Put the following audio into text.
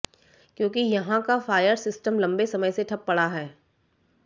क्योंकि यहां का फायर सिस्टम लंबे समय से ठप पड़ा है